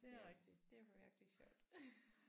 Der er rigtigt det var virkelig sjovt